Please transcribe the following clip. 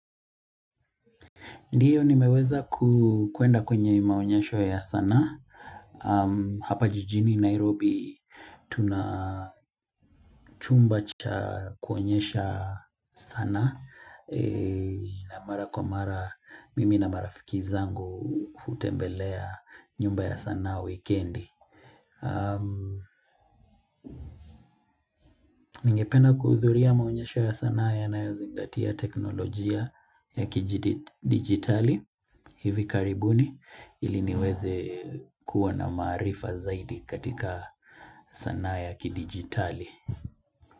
Ndiyo nimeweza kuenda kwenye maonyesho ya sana. Hapa jijini Nairobi tuna chumba cha kuonyesha sanaa na mara kwa mara mimi na marafiki zangu hutembelea nyumba ya sana wikendi. Ningependa kuhudhuria maonyesho ya sanaa yanayozingatia teknolojia ya kidigitali hivi karibuni ili niweze kuwa na maarifa zaidi katika sanaa ya kidigitali.